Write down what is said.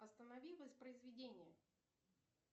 останови воспроизведение